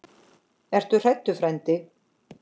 Ertu hræddur frændi?